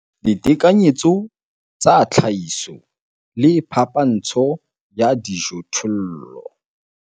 Ditekanyetso tsa tlhahiso le phapantsho ya dijothollo